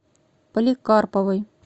поликарповой